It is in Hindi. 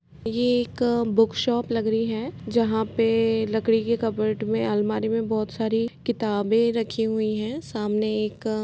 ये एक बुकशॉप लग री है जहाँ पे लकड़ी के कबर्ड में अलमारी में बहुत सारी किताबें रखी हुई है सामने एक --